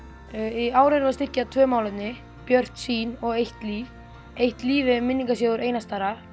í ár erum við að styrkja tvö málefni Björt sýn og eitt líf eitt líf er minningarsjóður Einars Darra